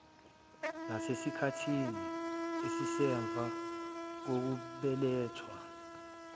nasesikhathini esisemva kokubeletha